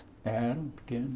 Eram pequenas.